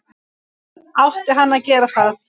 Átti hann að gera það??